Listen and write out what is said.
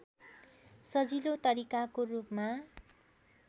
सजिलो तरिकाको रूपमा